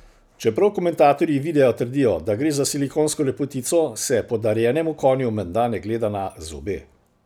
Čeprav komentatorji videa trdijo, da gre za silikonsko lepotico, se podarjenemu konju menda ne gleda na zobe ...